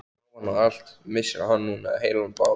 Ofan á allt annað missir hann núna heilan bát.